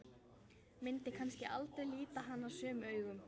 Myndi kannski aldrei líta hann sömu augum.